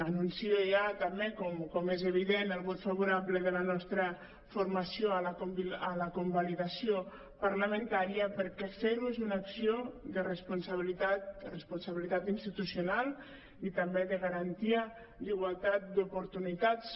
anuncio ja també com és evident el vot favorable de la nostra formació a la con·validació parlamentària perquè fer·ho és una acció de responsabilitat institucional i també de garantia d’igualtat d’oportunitats